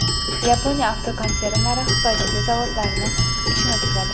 Yaponiya avtokonsernlari Xitoydagi zavodlari ishini tikladi.